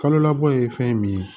Kalo labɔ ye fɛn min ye